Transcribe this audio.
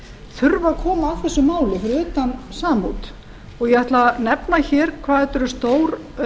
þurfa að koma að þessum málum fyrir utan samút ég ætla að nefna hér hvað þetta er stór